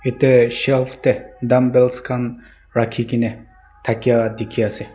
Etesh shelf tey dumbbells khan rakhe kena takia dekhe ase.